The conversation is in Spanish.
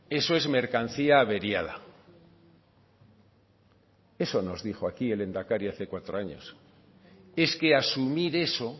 eso es mercancía averiada eso nos dijo aquí el lehendakari hace cuatro años es que asumir eso